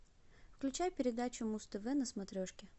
включай передачу муз тв на смотрешке